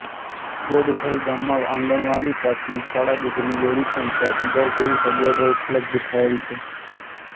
ગોડથલ ગામમાં આંગણવાડી પ્રાથમિક શાળા દૂધની ડેરી પંચાયતઘર જેવી સગવડો ઉપલબ્ધ થયેલ છે